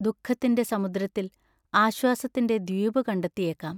ദുഃഖത്തിന്റെ സമുദ്രത്തിൽ ആശ്വാസത്തിന്റെ ദ്വീപു കണ്ടെത്തിയേക്കാം.